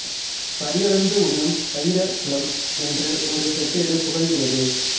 படியளந்து உண்ணும் பயிர குலம் என்று ஒரு செப்பேடு புகழுகிறது